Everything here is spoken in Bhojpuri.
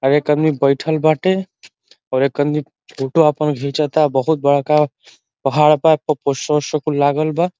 एक आदमी बैठल बाटे और एक आदमी फोटो आपन घिचता। बहोत बड़का पहाड़ बा। एपर पोस्टर ओस्टर कुल लागल बा।